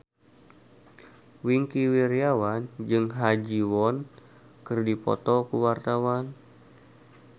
Wingky Wiryawan jeung Ha Ji Won keur dipoto ku wartawan